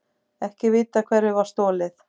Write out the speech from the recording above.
Ekki vitað hverju var stolið